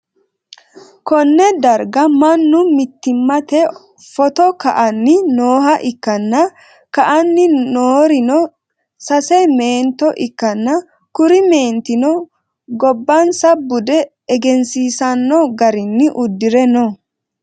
konne darga mannu mittimatenni footo ka'anni nooha ikkanna, ka'anni noorino sase meento ikkanna, kuri meentino gobbansa bude egensiisanno garinni uddire no.